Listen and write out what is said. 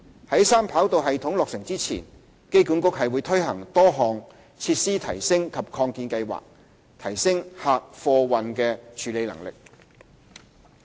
在三跑道系統落成前，機管局推行多項設施提升及擴建計劃，提升客貨運處理能力。